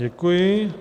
Děkuji.